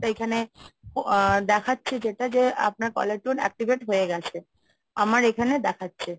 এখানে দেখাচ্ছে যেটা যে আপনার caller tune activate হয়ে গেছে, আমার এখানে দেখাচ্ছে।